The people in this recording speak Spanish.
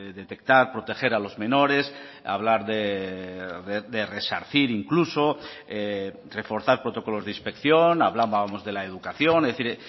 detectar proteger a los menores hablar de resarcir incluso reforzar protocolos de inspección hablábamos de la educación es decir